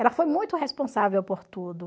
Ela foi muito responsável por tudo.